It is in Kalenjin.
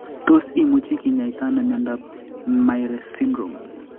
Tos imuchi kinyaita ano miondop Myhre syndrome